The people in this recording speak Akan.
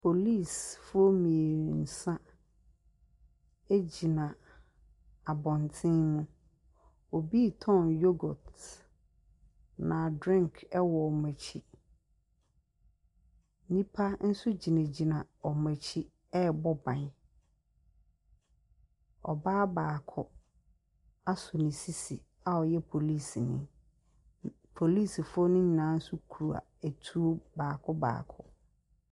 Polisifo mmiɛnsa gyina abɔnten, obi retɔn yoghurt na drink wɔ wɔn akyi. Nnipa nso gyinagyina wɔn akyi ɛrebɔ ban. Ɔbaa baako as ne sisi a ɔyɛ polisini. Polisifoɔ ne nyinaa nso kura atuo baako baako.